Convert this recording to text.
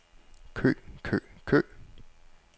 kø kø kø